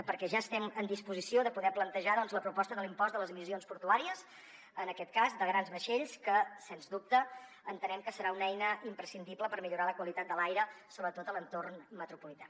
perquè ja estem en disposició de poder plantejar doncs la proposta de l’impost de les emissions portuàries en aquest cas de grans vaixells que sens dubte entenem que serà una eina imprescindible per millorar la qualitat de l’aire sobretot a l’entorn metropolità